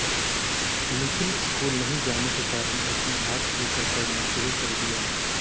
लेकिन अक्सर स्कूल नहीं जाने के कारण उसने आर्ट्स लेकर पढ़ना शुरू कर दिया